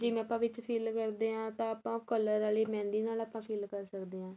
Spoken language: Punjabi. ਜਿਵੇਂ ਆਪਾਂ ਵਿੱਚ fill ਕਰਦੇ ਆ ਤਾਂ ਆਪਾਂ color ਵਾਲੀ mehendi ਨਾਲ ਆਪਾਂ fill ਕਰ ਸਕਦੇ ਆ